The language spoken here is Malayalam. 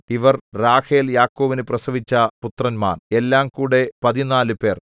ഇവർ റാഹേൽ യാക്കോബിനു പ്രസവിച്ച പുത്രന്മാർ എല്ലാംകൂടെ പതിനാല് പേർ